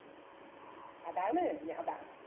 അതാണ് ഞാ ബാ